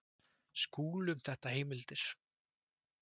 Skúli um þetta heimildir.